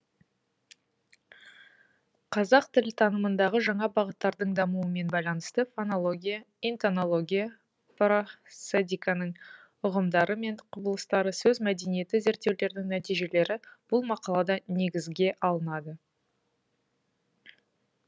қазақ тіл танымындағы жаңа бағыттардың дамуымен байланысты фонология интонология просодиканың үғымдары мен құбылыстары сөз мәдениеті зерттеулерінің нәтижелері бұл мақалада негізге алынады